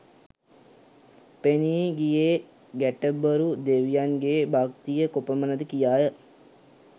පෙනී ගියේ ගැටබරු දෙවියන්ගේ භක්තිය කොපමණ ද කියාය